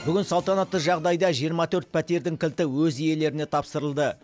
бүгін салтанатты жағдайда жиырма төрт пәтердің кілті өз иелеріне тапсырылды